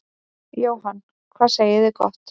Jóhann: Hvað segið þið gott.